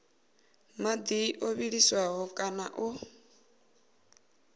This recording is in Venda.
madi o vhiliswaho kana o